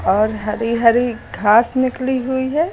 और हरी हरी घास निकली हुई है।